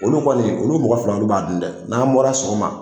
Olu kɔni olu mɔgɔ fila olu b'a dun dɛ n'an bɔra sɔgɔma.